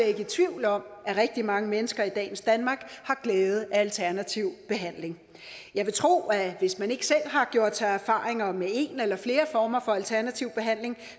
ikke i tvivl om at rigtig mange mennesker i dagens danmark har glæde af alternativ behandling jeg vil tro at hvis man ikke selv har gjort sig erfaringer med en eller flere former for alternativ behandling